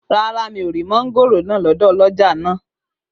Rárá, mi ò ra mọ́ngòrò náà lọ́dọ̀ ọlọ́jà náà